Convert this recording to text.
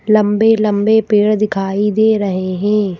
लंबे-लंबे पेड़ दिखाई दे रहे हैं।